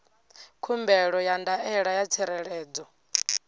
khumbelo ya ndaela ya tsireledzo